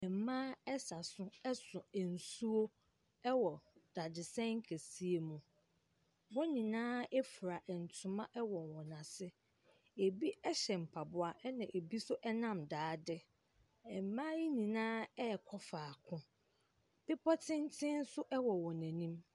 Mmaa ɛsa so so nsuo wɔ dadesɛn kɛseɛ mu. Wɔn nyinaa fura ntoma wɔ wɔn asene. Ɛbi hyɛ mpaboa na bi nso nam daade. Mmaa ne nyinaa ɛrekɔ faako. Bepɔ tenten nso wɔ wɔn anim.